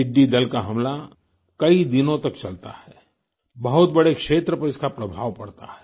टिड्डी दल का हमला कई दिनों तक चलता है बहुत बड़े क्षेत्र पर इसका प्रभाव पड़ता है